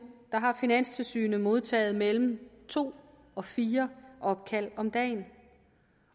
har finanstilsynet modtaget mellem to og fire opkald om dagen